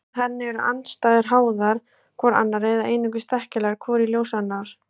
Samkvæmt henni eru andstæður háðar hvor annarri eða einungis þekkjanlegar hvor í ljós annarrar.